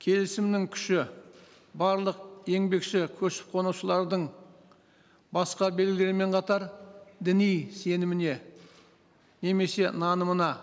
келісімнің күші барлық еңбекші көшіп қонушылардың басқа белгілермен қатар діни сеніміне немесе нанымына